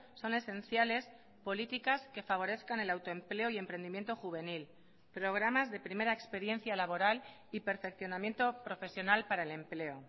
son esenciales políticas que favorezcan el autoempleo y emprendimiento juvenil programas de primera experiencia laboral y perfeccionamiento profesional para el empleo